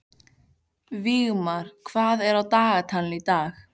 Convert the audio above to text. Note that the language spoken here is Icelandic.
Vígmar, hvað er á dagatalinu í dag?